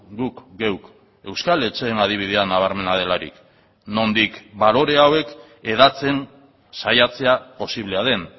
guk geuk euskal etxeen adibidea nabarmena delarik nondik balore hauek hedatzen saiatzea posiblea den